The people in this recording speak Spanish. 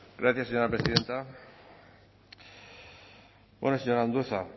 gracias señora presidenta señor andueza